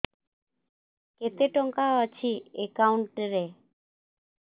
କେତେ ଟଙ୍କା ଅଛି ଏକାଉଣ୍ଟ୍ ରେ